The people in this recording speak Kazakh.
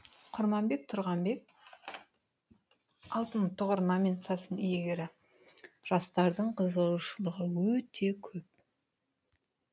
құрманбек тұрғанбек алтын тұғыр номинациясының иегері жастардың қызығушылығы өте көп